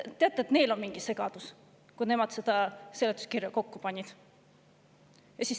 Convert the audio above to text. Neil oli mingi segadus, kui nemad seda seletuskirja kokku panid.